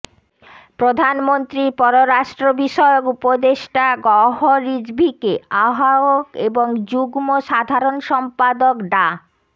প্রধানমন্ত্রীর পররাষ্ট্র বিষয়ক উপদেষ্টা গওহর রিজভীকে আহ্বায়ক এবং যুগ্ম সাধারণ সম্পাদক ডা